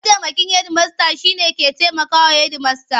Mataimakin hedimasta shine mai taimaka wa Hedimasta.